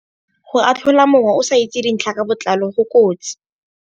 Go atlhola mongwe o sa itse dintlha ka botlalo go kotsi.